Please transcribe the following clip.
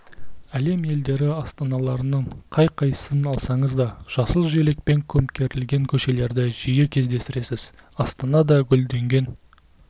әлем елдері астаналарының қай қайсысын алсаңыз да жасыл желекпен көмкерілген көшелерді жиі кездестіресіз астана да гүлденген